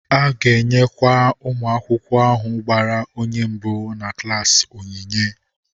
A ga-enyekwa nwa akwụkwọ ahụ gbara onye mbụ na klaasị onyinye.